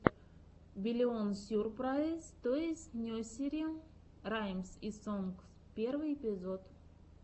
биллион сюрпрайз тойс несери раймс и сонгс первый эпизод